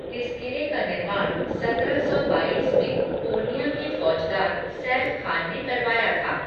इस किले का निर्माण सत्रह सौ बाईस में पूर्णिया के फौजदार, सैफ खान ने करवाया था।